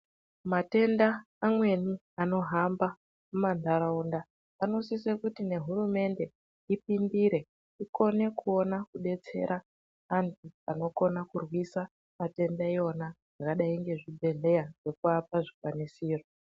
Matenda mamweni anohamba mumantaraunda anosisa kuti nehurumende ipindire ikone kuona kudetsera antu anokona kurwisa matenda iwona zvakadai nezvibhedhleya nekuvapa zvikwanisiro.